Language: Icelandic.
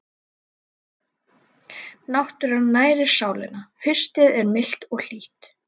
Náttúran nærir sálina Haustið er milt og hlýtt.